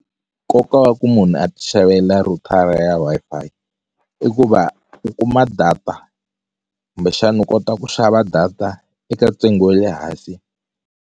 Nkoka wa ku munhu a ti xavela rhutara ya Wi-Fi i ku va u kuma data kumbexani u kota ku xava data eka ntsengo wa le hansi.